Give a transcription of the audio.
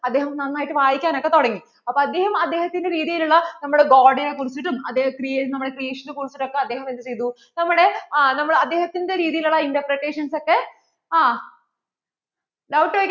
അദ്ദേഹം നന്നായിട്ട് വായിക്കാനൊക്കെ തുടങ്ങി അപ്പോൾ അദ്ദേഹം അദ്ദേഹത്തിന്‍റെ രീതിയിൽ ഉള്ള നമ്മടെ God നെ കുറിച്ചിട്ടും അദ്ദേഹം നമ്മടെ Priest നെ കുറിച്ചിട്ടുമൊക്കെ അദ്ദേഹം എന്ത് ചെയ്തു നമ്മടെ അദ്ദേഹത്തിന്‍റെ രീതിയിൽ ഉള്ള interpretation ഒക്കെ ആ doubt